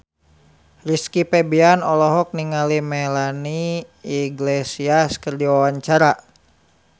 Rizky Febian olohok ningali Melanie Iglesias keur diwawancara